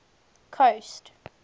coast